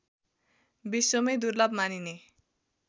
विश्वमै दुर्लभ मानिने